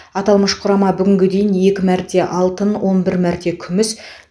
аталмыш құрама бүгінге дейін екі мәрте алтын он бір мәрте күміс